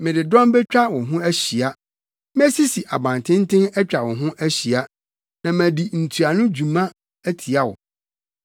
Mede dɔm betwa wo ho ahyia; mesisi abantenten atwa wo ho ahyia na madi ntuano dwuma atia wo.